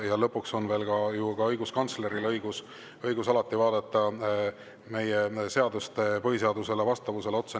Ja lõpuks on veel ka õiguskantsleril alati õigus vaadata meie seaduste põhiseadusele vastavusele otsa.